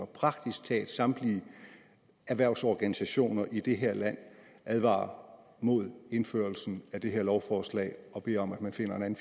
praktisk talt samtlige erhvervsorganisationer i det her land advarer mod indførelsen af det her lovforslag og beder om at man finder en